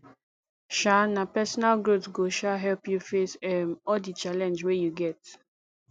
um na personal growth go um help you face um all di challenge wey you get